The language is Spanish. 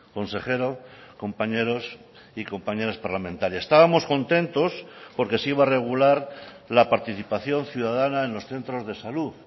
consejero compañeros y compañeras parlamentarias estábamos contentos porque se iba a regular la participación ciudadana en los centros de salud